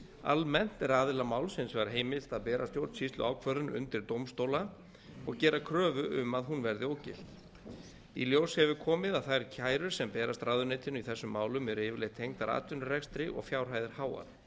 almennt er aðila máls hins vegar heimilt að bera stjórnsýsluákvörðun undir dómstóla og gera kröfu um að hún verði ógilt í ljós hefur komið að þær kærur sem berast ráðuneytinu í þessum málum eru yfirleitt tengdar atvinnurekstri og fjárhæðir háar